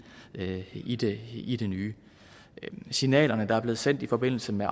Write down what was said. i det i det nye signalet der er blevet sendt i forbindelse med